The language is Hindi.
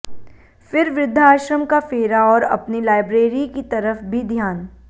फिर वृद्धाश्रम का फेरा और अपनी लाइब्रेरी की तरफ भी ध्यान